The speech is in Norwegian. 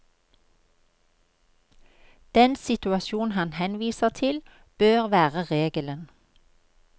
Den situasjon han henviser til, bør være regelen.